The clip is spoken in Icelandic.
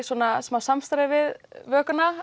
smá samstarfi við